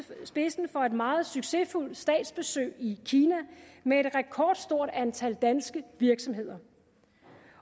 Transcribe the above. spidsen for et meget succesfuldt statsbesøg i kina med et rekordstort antal danske virksomheder